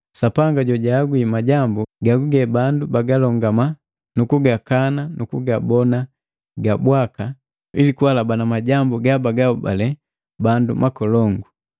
Sapanga jagahagwi majambu gaguge bandu bagalongama nukugakana nukugabona ga bwaka, ili kuhalabana majambu gabagahobale bandu makolongu.